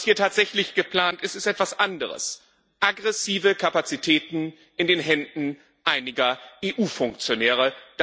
Was hier tatsächlich geplant ist, ist etwas anderes Aggressive Kapazitäten in den Händen einiger EU Funktionäre.